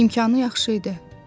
İmkanı yaxşı idi.